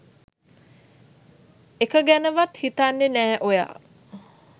එක ගැනවත් හිතන්නෙ නෑ ඔයා